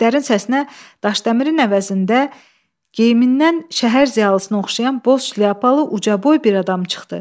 İtlərin səsinə Daşdəmirin əvəzində geyimindən şəhər ziyalısına oxşayan Boz şlyapalı ucaboy bir adam çıxdı.